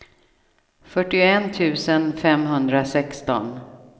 fyrtioett tusen femhundrasexton